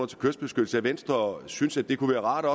til kystbeskyttelse at venstre også synes det kunne være rart at